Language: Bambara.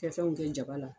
Fɛn fɛn kɛ jaba la